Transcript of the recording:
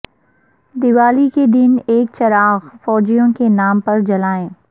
دیوالی کے دن ایک چراغ فوجیوں کے نام پرجلائیں